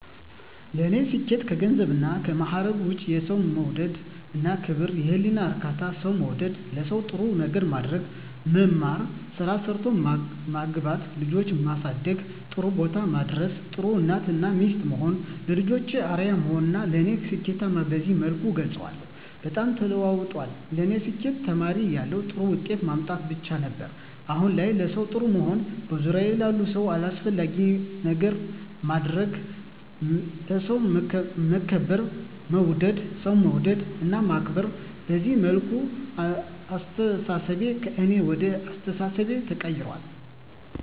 ለኔ ስኬት ከገንዘብና ከማዕረግ ውጭ የሠው መውደድ እና ክብር፤ የህሊና እርካታ፤ ሠው መውደድ፤ ለሠው ጥሩ ነገር ማድረግ፤ መማር፤ ስራ ሠርቶ መግባት፤ ልጆቼን ማሠደግ ጥሩቦታ ማድረስ፤ ጥሩ እናት እና ሚስት መሆን፤ ለልጆቼ አርያ መሆን ለኔ ስኬትን በዚህ መልኩ እገልፀዋለሁ። በጣም ተለውጧል ለኔ ስኬት ተማሪ እያለሁ ጥሩ ውጤት ማምጣት ብቻ ነበር። አሁን ላይ ለሠው ጥሩ መሆን፤ በዙሪያዬ ላሉ ሁሉ አስፈላጊ ነገር ማድረግ፤ በሠው መከበር መወደድ፤ ሠው መውደድ እና ማክበር፤ በዚህ መልኩ አስተሣሠቤ ከእኔ ወደ አኛ አስተሣሠቤ ተቀይራል።